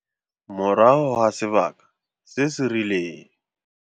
Morago ga sebaka se se rileng.